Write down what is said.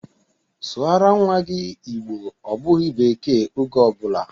Sụara nnwa gị Igbo! Ọ bụghị bekee oge ọ bụla!